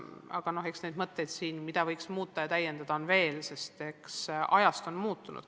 Aga mõtteid, mida võiks muuta ja täiendada, on veel, sest ajad on muutunud.